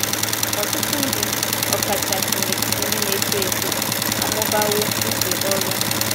Ọtụtụ ndị, ọ kachasi n’etiti ndị na - eto eto, amụbawo ije oru ha.